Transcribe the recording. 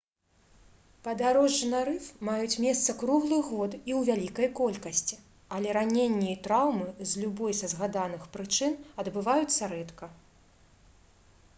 падарожжы на рыф маюць месца круглы год і ў вялікай колькасці але раненні і траўмы з любой са згаданых прычын адбываюцца рэдка